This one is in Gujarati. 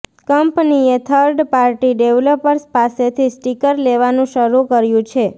કંપનીએ થર્ડ પાર્ટી ડેવલપર્સ પાસેથી સ્ટીકર લેવાનું શરૂ કર્યું છે